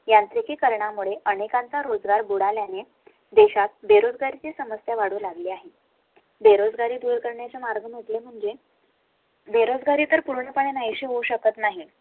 यांची करण्या मुळे अनेकांचा रोजगार बुडाल्या ने देशात बेरोजगारी ची समस्या वाढू लागली आहे. बेरोजगारी दूर करण्याचा मार्ग म्हणजे. बेरोजगारी तर पूर्णपणे नाही शी होऊ शकत नाही